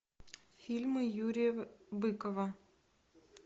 фильмы юрия быкова